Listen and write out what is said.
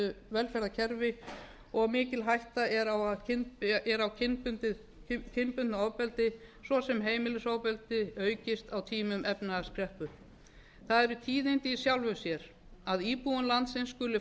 velferðarkerfi og mikil hætta er á kynbundnu ofbeldi svo sem heimilisofbeldi aukist á tímum efnahagskreppu það eru tíðindi í sjálfu sér að íbúðum landsins skuli